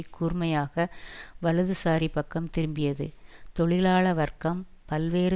கூர்மையாக வலதுசாரிபக்கம் திரும்பியது தொழிலாள வர்க்கம் பல்வேறு